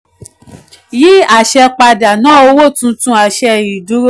yí àṣẹ padà ná owó tuntun àṣẹ ìdúró.